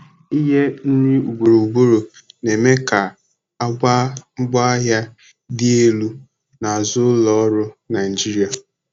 inye nri ugboro ugboro na-eme ka àgwà ngwaahịa dị elu na azụ ụlọ ọrụ Naijiria.